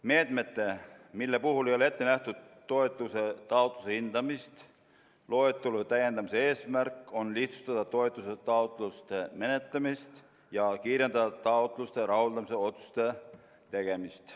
Meetmete, mille puhul ei ole ette nähtud toetuse taotluste hindamist, loetelu täiendamise eesmärk on lihtsustada toetuse taotluste menetlemist ja kiirendada taotluste rahuldamise otsuste tegemist.